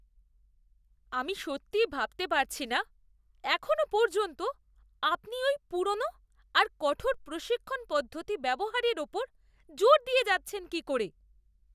আমি সত্যি ভাবতে পারছি না এখনও পর্যন্ত আপনি ওই পুরনো আর কঠোর প্রশিক্ষণ পদ্ধতি ব্যবহারের ওপর জোর দিয়ে যাচ্ছেন কী করে!